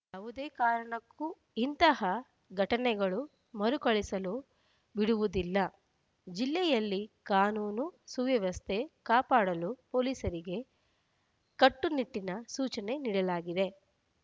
ಯಾವುದೇ ಕಾರಣಕ್ಕೂ ಇಂತಹ ಘಟನೆಗಳು ಮರುಕಳಿಸಲು ಬಿಡುವುದಿಲ್ಲ ಜಿಲ್ಲೆಯಲ್ಲಿ ಕಾನೂನು ಸುವ್ಯವಸ್ಥೆ ಕಾಪಾಡಲು ಪೊಲೀಸರಿಗೆ ಕಟ್ಟು ನಿಟ್ಟಿನ ಸೂಚನೆ ನೀಡಲಾಗಿದೆ